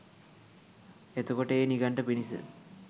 එතකොට ඒ නිගණ්ඨ පිරිස